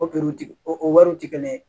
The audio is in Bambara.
O o wariw tɛ kelen ye